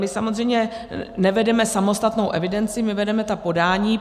My samozřejmě nevedeme samostatnou evidenci, my vedeme ta podání.